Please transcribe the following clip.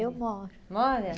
Eu moro. Mora?